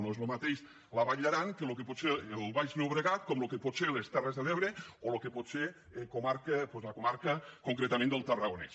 no és el mateix la vall d’aran que el que pot ser el baix llobregat que el que poden ser les terres de l’ebre o el que pot ser la comarca concretament del tarragonès